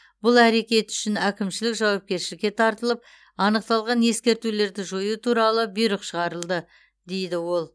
бұл әрекеті үшін әкімшілік жауапкершілікке тартылып анықталған ескертулерді жою туралы бұйрық шығарылды дейді ол